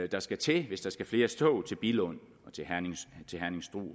der skal til hvis der skal flere tog til billund